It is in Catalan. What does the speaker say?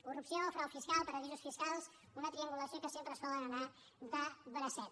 corrupció frau fiscal paradisos fiscals una triangulació que sempre solen anar de bracet